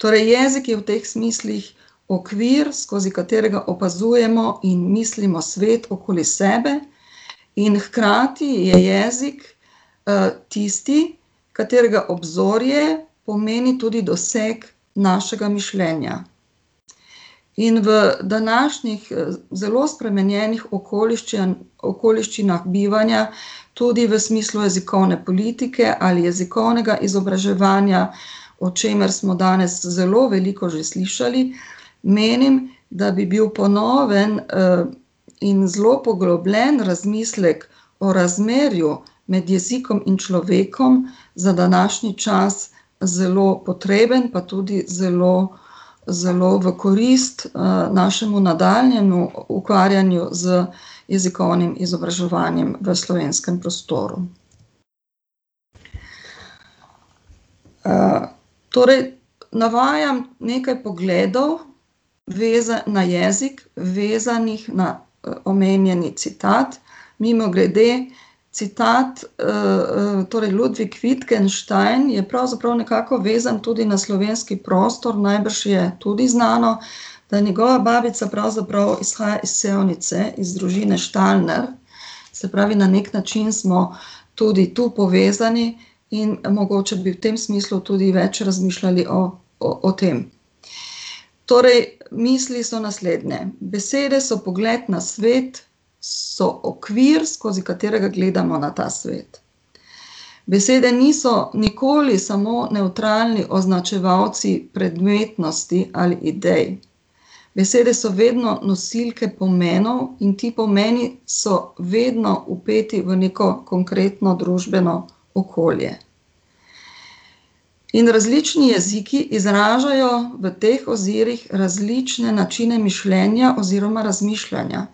Torej jezik je v teh smislih okvir, skozi katerega opazujemo in mislimo svet okoli sebe, in hkrati je jezik, tisti, katerega obzorje pomeni tudi doseg našega mišljenja. In v današnjih, zelo spremenjenih okoliščinah bivanja, tudi v smislu jezikovne politike ali jezikovnega izobraževanja, o čemer smo danes zelo veliko že slišali, menim, da bi bil po novem, in zelo poglobljen razmislek o razmerju med jezikom in človekom za današnji čas zelo potreben, pa tudi zelo zelo v korist, našemu nadaljnjemu ukvarjanju z jezikovnim izobraževanjem v slovenskem prostoru. torej navajam nekaj pogledov, na jezik, vezanih na, omenjeni citat, mimogrede, citat, torej Ludwig Wittgenstein je pravzaprav nekako vezan tudi na slovenski prostor, najbrž je tudi znano, da njegova babica pravzaprav izhaja iz Sevnice iz družine Štalner. Se pravi, na neki način smo tudi tu povezani in mogoče bi v tem smislu tudi več razmišljali o, o, o tem. Torej misli so naslednje: besede so pogled na svet, so okvir, skozi katerega gledamo na ta svet. Besede niso nikoli samo nevtralni označevalci predmetnosti ali idej, besede so vedno nosilke pomenov in ti pomeni so vedno vpeti v neko konkretno družbeno okolje. In različni jeziki izražajo v teh ozirih različne načine mišljenja oziroma razmišljanja.